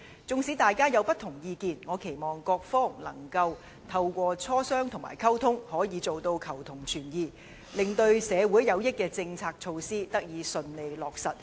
即使大家有不同意見，我期望各方仍能透過磋商和溝通，做到求同存異，令那些對社會有益的政策措施得以順利落實。